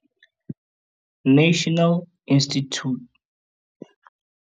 National Institute of Communicable Disease ho 0800 029 999 kapa o hokele ho www.health.gov.za le ho www.nicd.ac.za